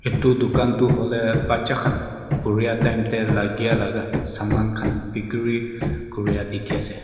etu dukan tu hoile bacha kan puria time de lagia laka saman kan bikiri kuria diki ase.